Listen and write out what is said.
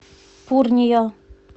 пурния